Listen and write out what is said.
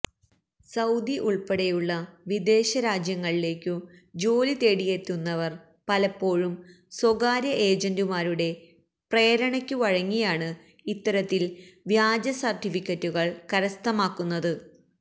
Saudi ഉള്പ്പെടെയുള്ള വിദേശരാജ്യങ്ങളിലേക്കു ജോലിതേടിയെത്തുന്നവര് പലപ്പോഴും സ്വകാര്യ ഏജന്റുമാരുടെ പ്രേരണയ്ക്കു വഴങ്ങിയാണ് ഇത്തരത്തില് വ്യാജ സര്ട്ടിഫിക്കറ്റുകള് കരസ്ഥമാക്കുന്നത്